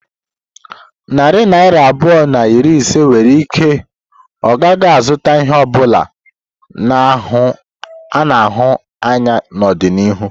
Narị naira abụọ na iri ise nwere ike ọ gaghị azụta ihe ọ bụla a na-ahụ anya n'ọdịnihu.